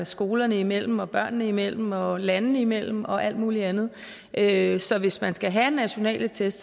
skolerne imellem børnene imellem og landene imellem og alt muligt andet andet så hvis man skal have nationale test